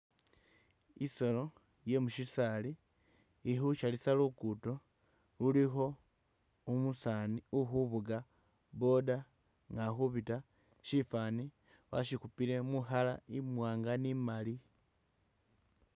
Isolo ye mushisali ikhu’salisha lugudo lulikho umusaani ukhufuga boda nga akhupita shifani washikhupile mu colour imwanga ni imali.